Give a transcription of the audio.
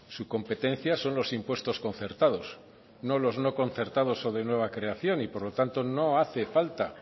su competencia son los impuestos concertados no los no concertados o de nueva creación y por lo tanto no hace falta